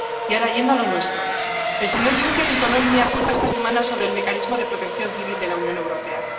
Y ahora voy a lo nuestro. El señor Juncker entonó el mea culpa esta semana sobre el Mecanismo de Protección Civil de la Unión Europea.